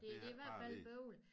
Det det er i hvert fald bøvlet